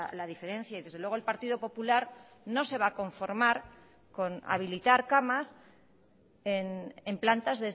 la diferencia y desde luego el partido popular no se va a conformar con habilitar camas en plantas